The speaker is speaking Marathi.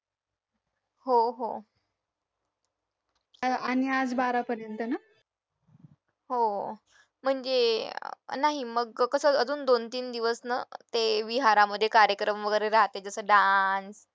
हो हो हो म्हणजे नाही मग कसं अजून दोन-तीन दिवस ना ते विहारांमध्ये कार्यक्रम वगैरे राहते जसं dance